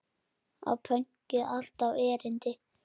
Á pönkið alltaf erindi?